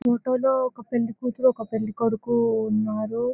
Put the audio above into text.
ఈ ఫోటో లో ఒక పెళ్లి కూతురు ఒక పెళ్లి కొడుకు ఉన్నారు.